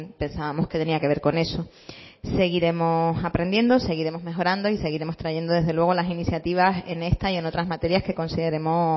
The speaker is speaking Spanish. pensábamos que tenía que ver con eso seguiremos aprendiendo seguiremos mejorando y seguiremos trayendo desde luego las iniciativas en esta y en otras materias que consideremos